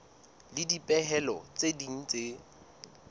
le dipehelo tse ding tse